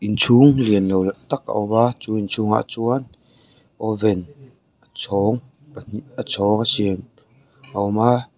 inchhung lian lo tak a awm a chu inchhungah chuan oven a chhawng pahnih a chhawng a siam a awm a.